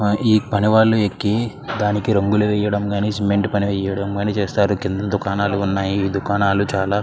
ఈ పని వాళ్ళు ఎక్కి డానికి రంగుల్లు వేయడం కానీ సిమెంట్ వేయడం కానీ చేస్తారు కింద దుకాణాలు వున్నాయి దుకాణాలు చాల.